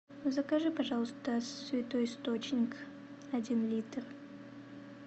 закажи пожалуйста святой источник один литр